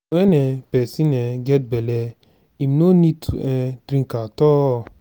when um person um get bele im no need to um drink at all